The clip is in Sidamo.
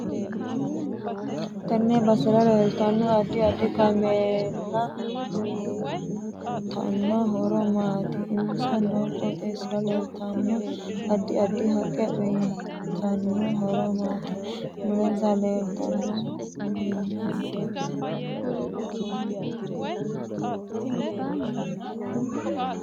TEnne basera leeltanno addi addi kameella uyiitanno horo maati insa noo qooxeesira leeltanno addi addi haqqe uyiitanno horo maati mulensa leeltanno minna hiitoote